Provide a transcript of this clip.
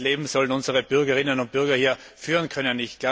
Welches Leben sollen unsere Bürgerinnen und Bürger hier führen können?